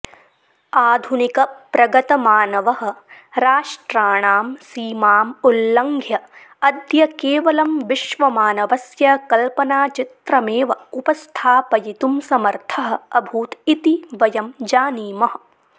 आधुनिकप्रगतमानवः राष्ट्राणां सीमाम् उल्लङ्घ्य अद्य केवलं विश्वमानवस्य कल्पनाचित्रमेव उपस्थापयितुं समर्थः अभूत् इति वयं जानीमः